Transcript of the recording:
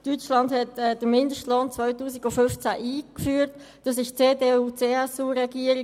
Deutschland führte den Mindestlohn im Jahr 2015 ein, und zwar unter der CDU/ CSU-Regierung.